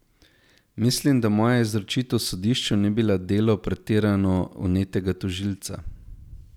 Mislim, da moja izročitev sodišču ni bila delo pretirano vnetega tožilca.